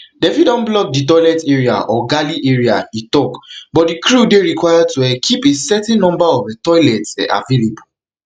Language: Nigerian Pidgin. dem fit don block di toilet area or galley area e tok but di crew dey required to um keep a certain number of toilets um available